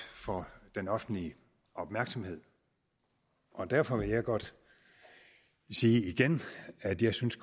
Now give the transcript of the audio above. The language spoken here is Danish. for den offentlige opmærksomhed og derfor vil jeg godt sige igen at jeg synes